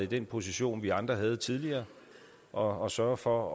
den position vi andre indtog tidligere og sørger for